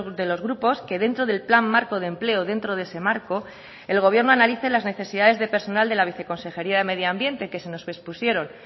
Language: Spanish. de los grupos que dentro del plan marco de empleo dentro de ese marco el gobierno analice las necesidades de personal de la viceconsejería de medio ambiente que se nos expusieron